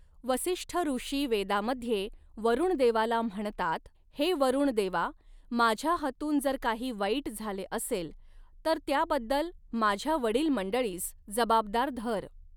वसिष्ठऋषी वेदामध्ये वरूणदेवाला म्हणतात, हे वरूणदेवा, माझ्या हातून जर काही वाईट झाले असेल, तर त्याबद्दल माझ्या वडील मंडळीस जबाबदार धर.